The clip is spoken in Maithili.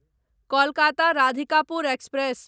कोलकाता राधिकापुर एक्सप्रेस